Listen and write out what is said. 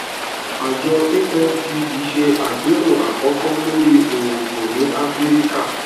àjọ afdb se àpérò àkọkọ lórí òògùn ní áfíríkà